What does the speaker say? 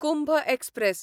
Kumbh express